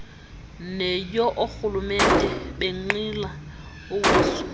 neyoorhulumente benqila uwiso